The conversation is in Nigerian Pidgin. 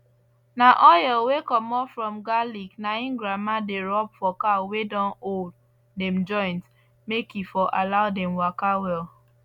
na oyel wey commot from garlic na im grandma dey rub for cow wey don old dem joint make e for allow dem waka well